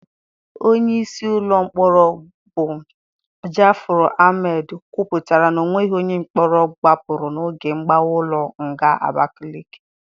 Onyeisi ụlọ mkpọrọ bụ Ja'afaru Almed kwuputara na onweghị onye mkpọrọ gbapụrụ n'oge mgbawa ụlọ nga Abakaleke.